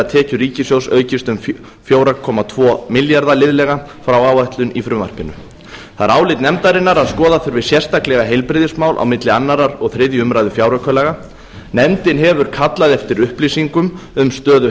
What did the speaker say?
tekjur ríkissjóðs aukist um fjóra komma tvo milljarða liðlega frá áætlun í frumvarpinu það er álit nefndarinnar að skoða þurfi sérstaklega heilbrigðismál á milli annars og þriðju umræðu fjáraukalaga nefndin hefur kallað eftir upplýsingum um stöðu